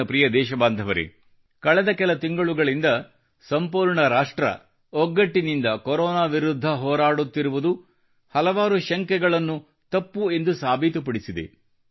ನನ್ನ ಪ್ರಿಯ ದೇಶಬಾಂಧವರೇ ಕಳೆದ ಕೆಲ ತಿಂಗಳುಗಳಿಂದ ಸಂಪೂರ್ಣ ರಾಷ್ಟ್ರ ಒಗ್ಗಟ್ಟಿನಿಂದ ಕೊರೊನಾ ವಿರುದ್ಧ ಹೋರಾಡುತ್ತಿರುವುದು ಹಲವಾರು ಶಂಕೆಗಳನ್ನು ತಪ್ಪು ಎಂದು ಸಾಬೀತುಪಡಿಸಿದೆ